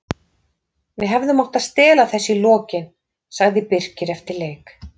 Við hefðum mátt stela þessu í lokin, sagði Birkir eftir leik.